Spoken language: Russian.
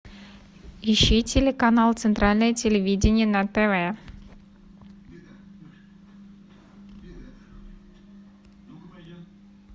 ищи телеканал центральное телевидение на тв